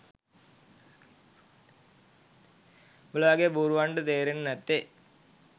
උඹල වගේ බූරුවන්ට තේරෙන්නෙ නැත්තෙ.